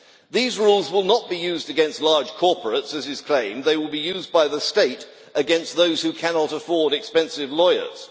These rules will not be used against large corporates, as is claimed, they will be used by the state against those who cannot afford expensive lawyers.